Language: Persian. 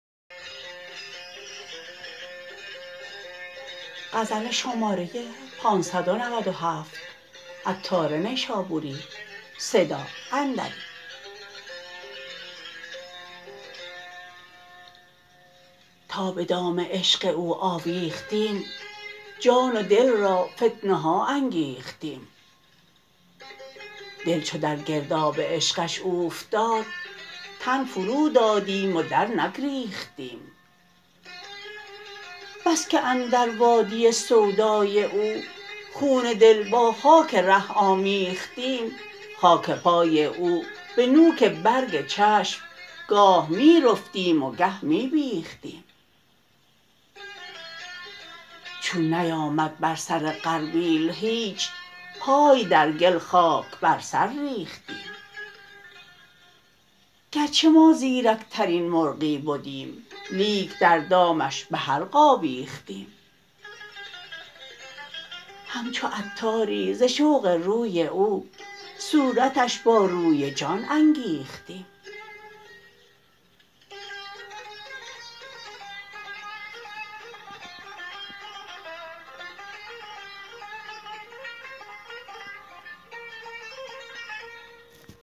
تا به دام عشق او آویختیم جان و دل را فتنه ها انگیختیم دل چو در گرداب عشقش اوفتاد تن فرو دادیم و در نگریختیم بس که اندر وادی سودای او خون دل با خاک ره آمیختیم خاک پای او به نوک برگ چشم گاه می رفتیم و گه می بیختیم چون نیامد بر سر غربیل هیچ پای در گل خاک بر سر ریختیم گرچه ما زیرک ترین مرغی بدیم لیک در دامش به حلق آویختیم همچو عطاری ز شوق روی او صورتش با روی جان انگیختیم